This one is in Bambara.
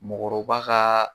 Mɔɔkɔrɔba kaa